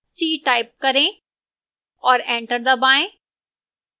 c type करें और enter दबाएं